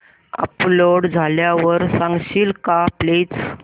upload झाल्यावर सांगशील का प्लीज